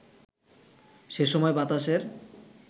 সেসময় বাতাসের